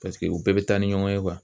Paseke u bɛɛ bɛ taa ni ɲɔgɔn ye .